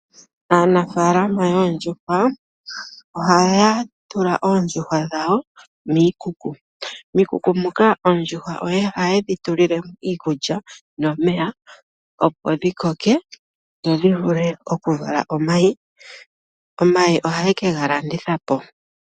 Aanafaalama yoondjuhwa oha ya tula oondjuhwa dhawo miikuku. Miikuku muka ondjuhwa ohaye dhi tulilemo iikulya nomeya opo dhi koke dho dhivule oku vala omayi. Omayi oha ye ke ga landitha po.